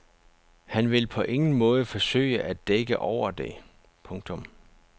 Han vil på ingen måde forsøge at dække over det. punktum